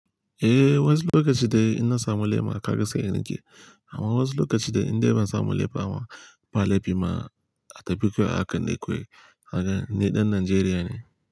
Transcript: Eh, wasu lokaci dai ina samu lema kaga sai in riƙe. Amma wasu lokaci dai in dai ban samu lema ba, ba laifi ma. A tafikowa akan ekwai. Raga ni dan Najeriya ne.